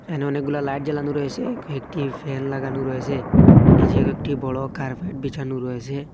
এখানে অনেকগুলা লাইট জ্বালানো রয়েসে কয়েকটি ফ্যান লাগানো রয়েসে নীচে কয়েকটি বড় কার্পেট বিছানো রয়েসে।